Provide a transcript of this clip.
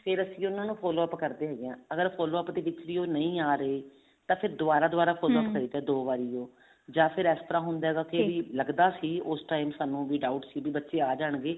ਫ਼ੇਰ ਅਸੀਂ ਉਹਨਾ ਨੂੰ follow up ਕਰਦੇ ਹੈਗੇ ਹਾਂ ਅਗਰ follow up ਦੇ ਵਿੱਚ ਦੀ ਉਹ ਨਹੀਂ ਆ ਰਹੇ ਤਾਂ ਫ਼ੇਰ ਦੁਬਾਰਾ follow up ਕਰੀਦਾ ਦੋ ਵਾਰੀ ਜਾਂ ਫ਼ੇਰ ਇਸ ਤਰ੍ਹਾਂ ਹੁੰਦਾ ਹੈ ਕੀ ਲੱਗਦਾ ਸੀ ਉਸ time ਸਾਨੂੰ doubt ਸੀ ਵੀ ਬੱਚੇ ਆ ਜਾਣਗੇ